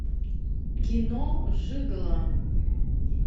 кино жиголо